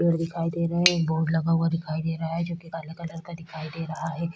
पेड़ दिखाई दे रहे हैं बोर्ड लगा हुआ दिखाइ दे रहा है जोकि काला कलर का दिखाई दे रहा है।